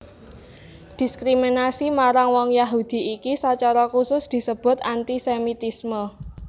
Diskriminasi marang wong Yahudi iki sacara khusus disebut antisemitisme